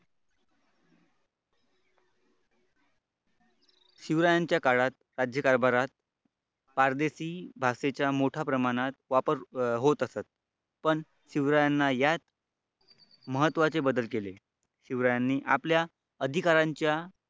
शिवरायांच्या काळात राज्यकारभारात पार देशी भाषांचा मोठ्या प्रमाणात वापर होत. असत पण शिवरायांना याच महत्त्वाचे बदल केले शिवरायांनी आपल्या अधिकाऱ्यांच्या